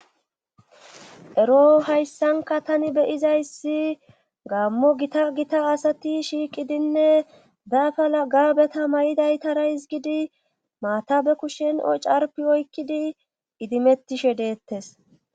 ero hayssanka tani beyizayssi gaammo gita gita asati shiiqidinne daafa lagabeta mayidaytara hizgidi maatabe kushen ocarpi oykkidi idimettishe deettes